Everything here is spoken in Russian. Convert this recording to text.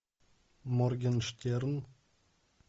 моргенштерн